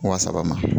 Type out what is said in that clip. Wa saba ma